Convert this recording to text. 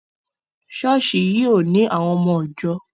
Ṣọ́ọ̀ṣì yìí ò ní àwọn ọmọ ìjọ.